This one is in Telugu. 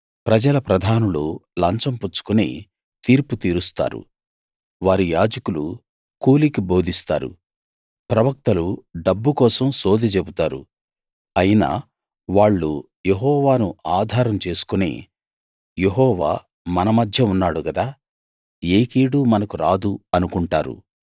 ప్రజల ప్రధానులు లంచం పుచ్చుకుని తీర్పు తీరుస్తారు వారి యాజకులు కూలికి బోధిస్తారు ప్రవక్తలు డబ్బు కోసం సోదె చెబుతారు అయినా వాళ్ళు యెహోవాను ఆధారం చేసుకుని యెహోవా మన మధ్య ఉన్నాడు గదా ఏ కీడూ మనకు రాదు అనుకుంటారు